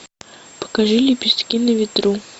покажи лепестки на ветру